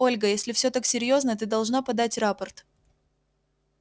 ольга если все так серьёзно ты должна подать рапорт